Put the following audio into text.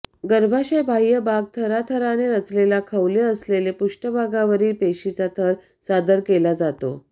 गर्भाशय बाह्य भाग थराथराने रचलेला खवले असलेले पृष्ठभागावरील पेशीचा थर सादर केला जातो